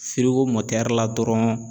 Firigo la dɔrɔn